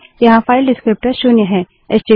यहाँ file descriptor विवरणक शून्य है